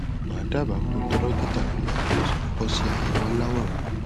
mà á dábàá kó o tọ dọkítà rẹ lọ kí o sì kọkọ ṣe àyẹwò aláwòrán